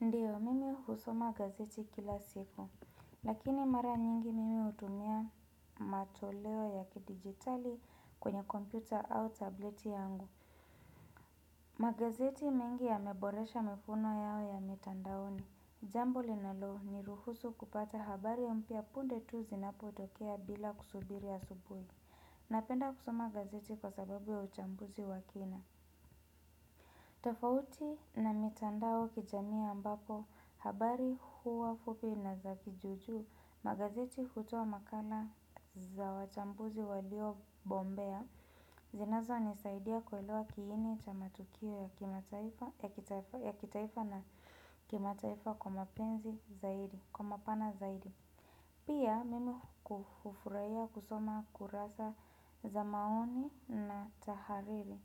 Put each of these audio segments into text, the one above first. Ndio, mimi husoma gazeti kila siku. Lakini mara nyingi mimi hutumia matoleo ya kidigitali kwenye kompyuta au tableti yangu. Magazeti mengi yameboresha mifuno yao ya mtandaoni. Jambo linalo ni ruhusu kupata habari mpya punde tu zinapotokea bila kusubiri asubuhi. Napenda kusoma gazeti kwa sababu ya uchambuzi wa kina. Tafauti na mitandao kijamii ambapo habari huwa fupi na za kijuju magazeti hutoa makala za wachambuzi walio bombea. Zinazo nisaidia kuelewa kiini cha matukio ya kitaifa na kima taifa kwa mapana zaidi pia mimi hufurahia kusoma kurasa za maoni na tahariri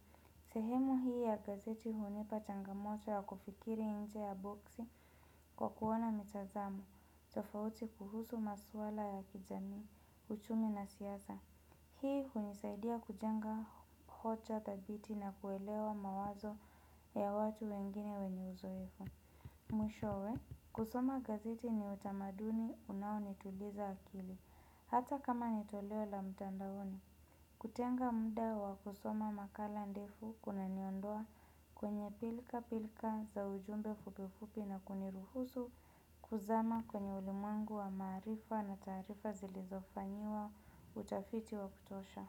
sehemu hii ya gazeti hunipa changamoto ya kufikiri inje ya boksi kwa kuona mitazamo, tofauti kuhusu maswala ya kijamii, uchumi na siasa. Hii hunisaidia kujenga hocha thabiti na kuelewa mawazo ya watu wengine wenye uzoefu. Mwishowe, kusoma gazeti ni utamaduni unaoni tuliza akili. Hata kama nitoleo la mtandaoni, kutenga muda wa kusoma makala ndefu kuna niondoa kwenye pilka pilka za ujumbe fupi fupi na kuniruhusu kuzama kwenye ulimwengu wa maarifa na taarifa zilizofanyiwa utafiti wa kutosha.